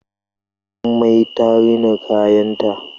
Jummai ta rina kayanta